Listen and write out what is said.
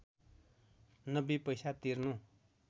९० पैसा तिर्नु